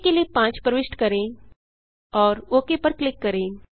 आ के लिए 5 प्रविष्ट करें और ओक पर क्लिक करें